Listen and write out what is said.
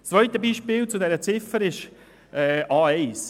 Das zweite Beispiel zu dieser Ziffer ist die A1.